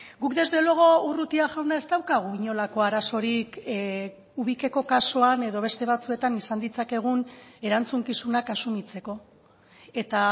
guk desde luego urrutia jauna ez daukagu inolako arazorik ubikeko kasuan edo beste batzuetan izan ditzakegun erantzukizunak asumitzeko eta